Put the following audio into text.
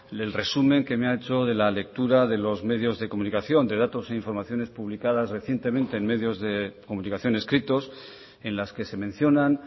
del resumen que me ha hecho de la lectura de los medios de comunicación de datos e informaciones publicadas recientemente en medios de comunicación escritos en las que se mencionan